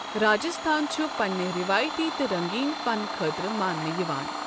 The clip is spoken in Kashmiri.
راجستھان چھُ پننہِ رٮ۪وٲیتی تہٕ رٔنٛگیٖن فن خٲطرٕ ماننہٕ یِوان۔